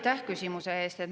Aitäh küsimuse eest!